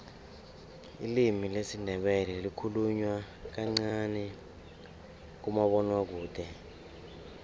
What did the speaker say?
ilimi lesindebele likhulunywa kancani kumabonwakude